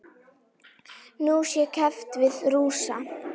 Nú sé keppt við Rússa.